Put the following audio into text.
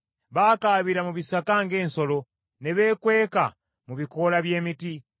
Baakaabira mu bisaka ng’ensolo ne beekweka mu bikoola by’emiti.